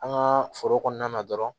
An ka foro kɔnɔna na dɔrɔn